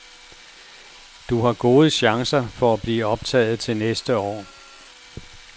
Du har gode chancer for at blive optaget til næste år.